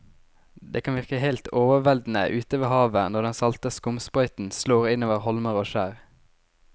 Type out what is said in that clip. Det kan virke helt overveldende ute ved havet når den salte skumsprøyten slår innover holmer og skjær.